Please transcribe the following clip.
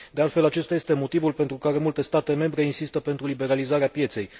De altfel, acesta este motivul pentru care multe state membre insistă pentru liberalizarea pieței.